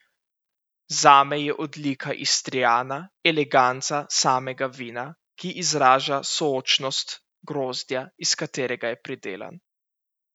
Zame je odlika Istriana eleganca samega vina, ki izraža sočnost grozdja iz katerega je pridelan.